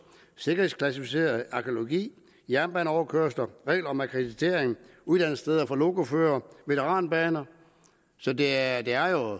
sikkerhedsklassificeret arkæologi jernbaneoverkørsler regler om akkreditering uddannelsessteder for lokoførere veteranbaner så det er jo